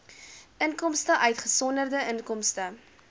inkomste uitgesonderd inkomste